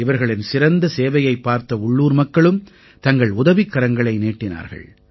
இவர்களின் சிறந்த சேவையைப் பார்த்த உள்ளூர் மக்களும் தங்கள் உதவிக்கரங்களை நீட்டினார்கள்